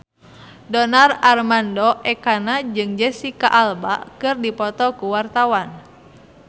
Donar Armando Ekana jeung Jesicca Alba keur dipoto ku wartawan